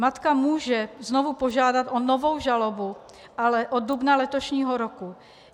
Matka může znovu požádat o novou žalobu, ale od dubna letošního roku.